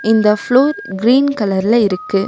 இந்த floor green கலர்ல இருக்கு.